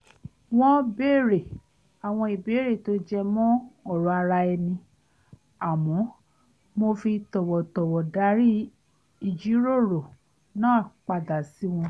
wọ́n béèrè àwọn ìbéèrè tó jẹ mọ́ ọ̀rọ̀ ara ẹni àmọ́ mo fi tọ̀wọ̀tọ̀wọ̀ darí ìjíròrò náà padà sí wọn